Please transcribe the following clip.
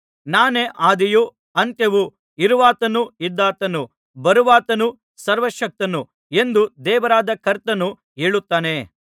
ನಾನೇ ಆದಿಯೂ ಅಂತ್ಯವೂ ಇರುವಾತನೂ ಇದ್ದಾತನೂ ಬರುವಾತನೂ ಸರ್ವಶಕ್ತನೂ ಎಂದು ದೇವರಾದ ಕರ್ತನು ಹೇಳುತ್ತಾನೆ